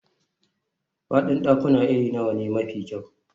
Faɗin ɗakuna irin nawa ne mafi kyau.